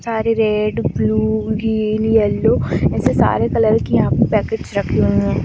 सारे red blue green yellow ऐसे सारे कलर की यहाँ पे पैकेट्स रखे हुए हैं।